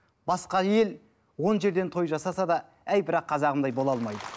басқа ел он жерден той жасаса да әй бірақ қазағымдай бола алмайды